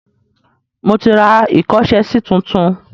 Mo ti ra ìkọ́ṣẹsí tuntun.